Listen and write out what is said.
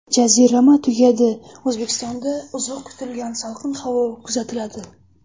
Jazirama tugadi: O‘zbekistonda uzoq kutilgan salqin havo kuzatiladi.